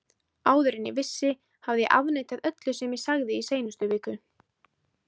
Áður en ég vissi hafði ég afneitað öllu sem ég sagði í seinustu viku.